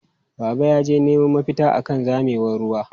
Baba yaje neman mafita akan zamewar ruwa.